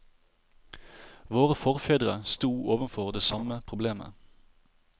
Våre forfedre sto overfor det samme problemet.